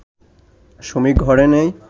সুমি ঘরে নেই